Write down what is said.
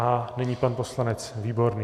A nyní pan poslanec Výborný.